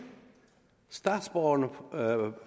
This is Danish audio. statsborgerne